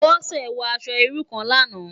Bose wò aṣò irú kán làná